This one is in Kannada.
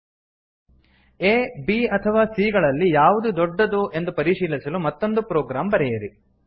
ಆ b ಅಥವಾ c ಗಳಲ್ಲಿ ಯಾವುದು ದೊಡ್ಡದು ಎಂದು ಪರಿಶೀಲಿಸಲು ಮತ್ತೊಂದು ಪ್ರೊಗ್ರಾಮ್ ಬರೆಯಿರಿ